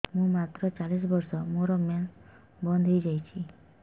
ମୁଁ ମାତ୍ର ଚାଳିଶ ବର୍ଷ ମୋର ମେନ୍ସ ବନ୍ଦ ହେଇଯାଇଛି